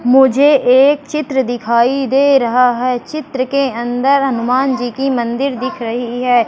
मुझे एक चित्र दिखाई दे रहा है चित्र के अंदर हनुमान जी की मंदिर दिख रही है।